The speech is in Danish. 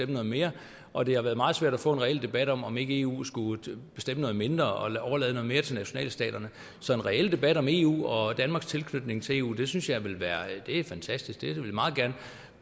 noget mere og det har været meget svært at få en reel debat om om ikke eu skulle bestemme noget mindre og overlade noget mere til nationalstaterne så en reel debat om eu og danmarks tilknytning til eu synes jeg ville være fantastisk det vil vi meget gerne